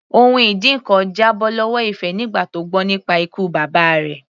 Ohun ìdínkan já bọ́ lọ́wọ́ Ife nígbà tó gbọ́ nípa ikú bàbá rẹ̀.